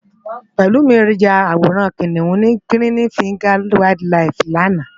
Pelumi yá àwórán Kiniún ni Girini Fingás Wàáild Làíf làná